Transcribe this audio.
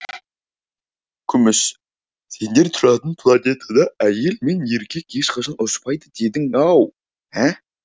күміс сендер тұратын планетада әйел мен еркек ешқашан ұрыспайды дедің ау ә